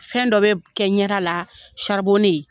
Fɛn dɔ be kɛ ɲɛda la